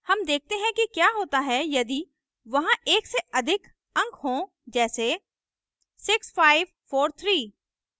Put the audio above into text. अब देखते हैं कि क्या होता है यदि वहां एक से अधिक अंक हों जैसे 6543